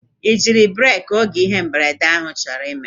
I jiri breeki oge ihe mberede ahụ chọrọ ime?